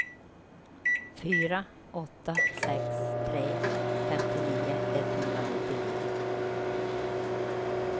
fyra åtta sex tre femtionio etthundranittionio